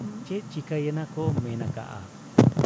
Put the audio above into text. ᱪᱮᱫ ᱪᱤᱠᱟᱹᱭᱮᱱᱟ ᱠᱚ ᱢᱮᱱ ᱟᱠᱟᱜ ᱟ ᱾